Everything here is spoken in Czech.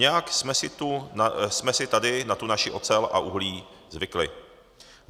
Nějak jsme si tady na tu naši ocel a uhlí zvykli.